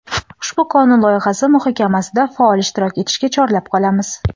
Ushbu qonun loyihasi muhokamasida faol ishtirok etishga chorlab qolamiz.